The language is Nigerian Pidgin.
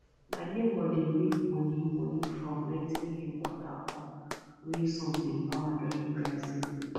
my neighbor dey make money money from renting him water pump wey sun dey power during dry season